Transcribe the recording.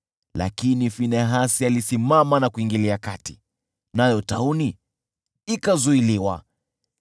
Lakini Finehasi alisimama na kuingilia kati, nayo tauni ikazuiliwa.